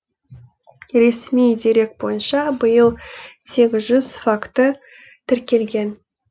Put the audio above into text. ресми дерек бойынша биыл сегіз жүз факті тіркелген